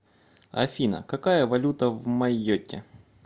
афина какая валюта в майотте